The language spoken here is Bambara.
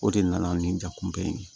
O de nana ni jakuba ye